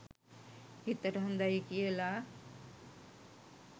හිතට හොඳයි කියලා